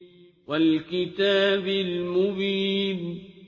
وَالْكِتَابِ الْمُبِينِ